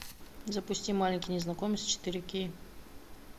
запусти маленький незнакомец четыре кей